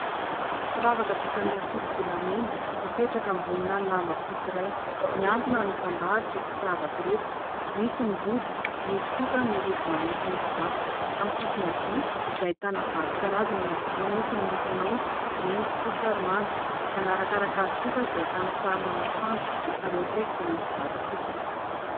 Firavaka vita amin'ny ankoso-bolamena mipetraka ambonina lamba fotsy iray. Mihantona ary mitandahatra ireto firavaka ireto : misy ny rojo, misy kosa ny rojo manify misy vato. Amin'ny sisiny havia dia ahitana vato karazany eny ampovoany : misy miloko maitso, mena, fotsy ary manga. Manarakaraka azy kosa dia ahitana sarina masoandro ary eo akaiky dia misy vato fotsy.